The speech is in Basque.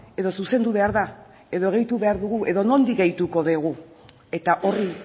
edo zuzendu behar da edo gehitu behar dugu edo nondik gehituko dugu eta horri